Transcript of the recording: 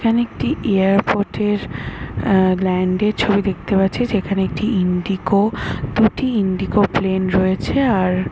এখানে একটি airport এর আহ ল্যান্ড এর ছবি দেখতে পাচ্ছি যেখানে ইন্ডিগো দুটি ইন্ডিগো প্লেন রয়েছে আর --